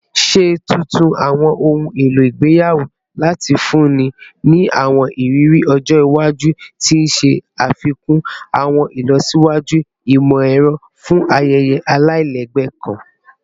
Ṣe tuntun awọn ohun elo igbeyawo lati funni ni awọn iriri ọjọ iwaju, ti o ṣafikun awọn ilọsiwaju imọ-ẹrọ fun ayẹyẹ alailẹgbẹ kan